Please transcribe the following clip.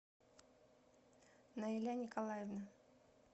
наиля николаевна